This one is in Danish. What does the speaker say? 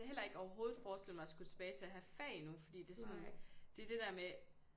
Heller ikke overhovedet forestille mig at skulle tilbage til at have fag nu fordi det sådan det er det der med